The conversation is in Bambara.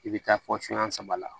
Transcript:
I bɛ taa fɔ sunyan saba la